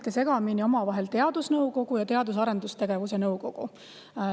Te nüüd ajasite omavahel segamini teadusnõukogu ning Teadus- ja Arendusnõukogu.